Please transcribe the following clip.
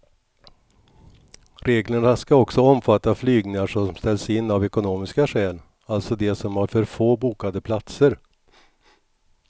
Reglerna ska också omfatta flygningar som ställs in av ekonomiska skäl, alltså de som har för få bokade platser.